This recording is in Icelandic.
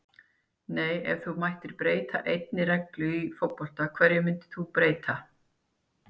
nei Ef þú mættir breyta einni reglu í fótbolta, hverju myndir þú breyta?